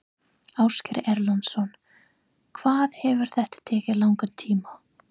Ásgeir Erlendsson: Hvað hefur þetta tekið langan tíma?